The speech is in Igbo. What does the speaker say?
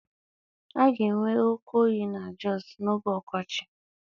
A ga-enwe oke oyi na Jọsụ n'oge ọkọchị.